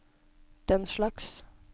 denslags